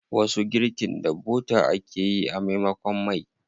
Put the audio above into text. Wasu girkin da bota ake yi a maimakon mai.